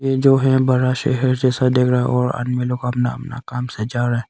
ये जो है बड़ा शहर जैसा दिख रहा है और आदमी लोग अपना अपना काम से जा रहा--